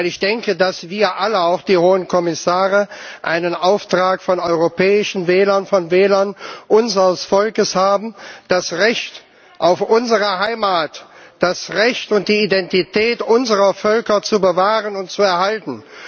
Weil ich denke, dass wir alle, auch die hohen Kommissare, einen Auftrag von den europäischen Wählern, von den Wählern unseres Volkes haben, das Recht auf unsere Heimat, das Recht und die Identität unserer Völker zu bewahren und zu erhalten.